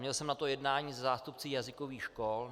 Měl jsem na to jednání se zástupci jazykových škol.